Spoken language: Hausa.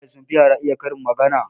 Iyaye sun fi yara iya karin magana